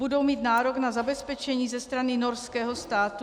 Budou mít nárok na zabezpečení ze strany norského státu?